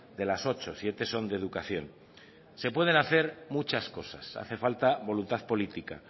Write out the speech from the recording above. de las ocho siete son de educación se puede hacer muchas cosas hace falta voluntad política